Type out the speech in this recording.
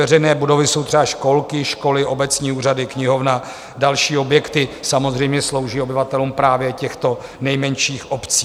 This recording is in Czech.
Veřejné budovy jsou třeba školky, školy, obecní úřady, knihovna, další objekty, samozřejmě slouží obyvatelům právě těchto nejmenších obcí.